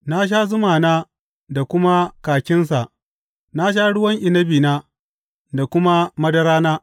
Na sha zumana da kuma kakinsa na sha ruwan inabina da kuma madarana.